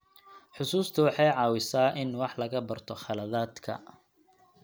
Xusuustu waxay caawisaa in wax laga barto khaladaadka.